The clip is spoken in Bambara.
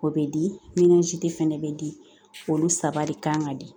O bɛ di fana bɛ di olu saba de kan ka di